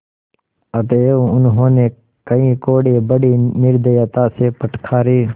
अतएव उन्होंने कई कोडे़ बड़ी निर्दयता से फटकारे